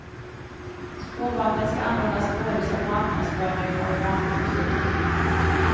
Spårvagnen ska användas både som marknadsföring och i vanlig trafik.